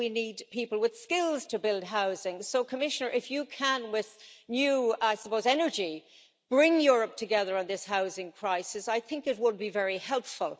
We need people with skills to build housing, so Commissioner, if you can, with new energy I suppose, bring Europe together on this housing crisis, I think it would be very helpful.